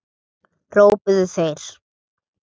hrópuðu þeir.